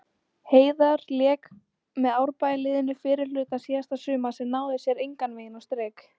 Heiðar lék með Árbæjarliðinu fyrri hluta síðasta sumars en náði sér engan veginn á strik.